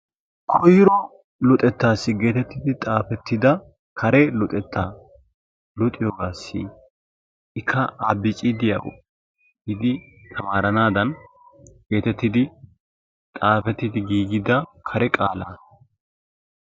Koyro luxetta getettidi xaafettida kare luxettaassi ikka A,B, C, D giidi tamaaranaassi geetettidi xaafettidi giigida kare qaalaa,,